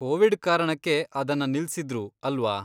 Covid ಕಾರಣಕ್ಕೆ ಅದನ್ನ ನಿಲ್ಸಿದ್ರು ಅಲ್ವಾ?